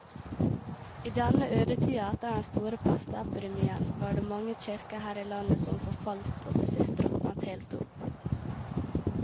I denne ødetida etter den store pestepidemien var det mange kirker her i landet som forfalt og til sist råtnet helt opp.